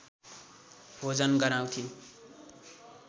भोजन गराउँथिन्